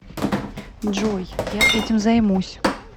джой я этим займусь